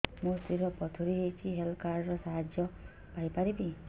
ମୋ ସ୍ତ୍ରୀ ର ପଥୁରୀ ହେଇଚି ହେଲ୍ଥ କାର୍ଡ ର ସାହାଯ୍ୟ ପାଇପାରିବି